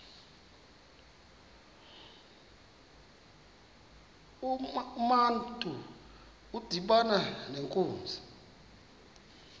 urantu udibana nenkunzi